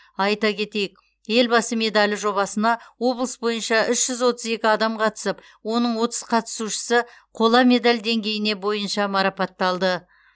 айта кетейік елбасы медалі жобасына облыс бойынша үш жүз отыз екі адам қатысып оның отыз қатысушысы қола медаль деңгейі бойынша марапатталды